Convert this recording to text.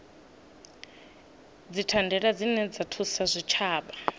dzithandela dzine dza thusa zwitshavha